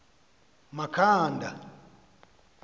makhanda